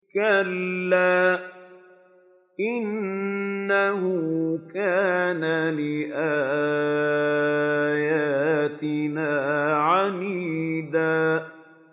كَلَّا ۖ إِنَّهُ كَانَ لِآيَاتِنَا عَنِيدًا